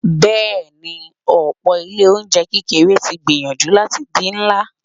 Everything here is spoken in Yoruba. Bẹẹni, ọ̀pọ̀ Ilé-oúnjẹ kékeré tí ń gbìyànjú láti di ńlá.